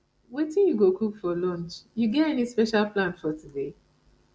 wetin you go cook for lunch you get any special plan today